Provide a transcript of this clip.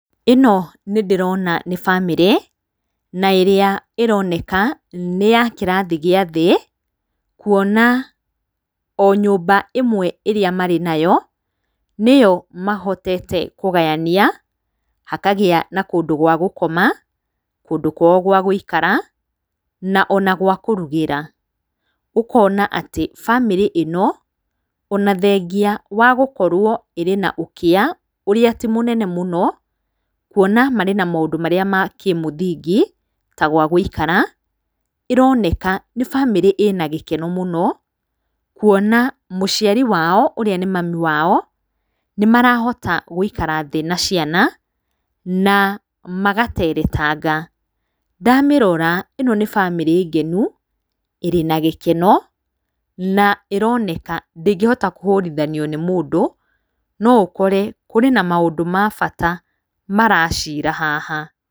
Ĩno nĩ ndĩrona nĩ bamĩrĩ na ĩrĩa ĩroneka nĩ ya kĩrathi gĩa thĩ, kuona o nyũmba ĩmwe ĩrĩa marĩ nayo, nĩyo mahotete kũgayania hakagĩa na kũndũ gwa gũkoma, kũndũ kwao gwa gũikara, ona gwa kũrugĩra. Ũkona atĩ bamĩrĩ ĩno o na thengia wagũkorwo ĩrĩ na na ũkĩa ũrĩa atĩ mũnene mũno, kuona marĩ na maũndũ marĩa ma kĩ mũthingi ta gwa gũikara, ĩroneka nĩ bamĩrĩ ĩ na gĩkeno mũno, kuona mũciari wao, ũrĩa nĩ mami wao nĩ marahota gũikara thĩ na ciana na magateretanga. Ndamĩrora ĩno nĩ bamĩrĩ ngenu, ĩrĩ na gĩkeno na ĩroneka ndĩngĩhota kũhũrithanio nĩ mũndũ, no ũkore kũrĩ na maũndũ ma bata maracira haha.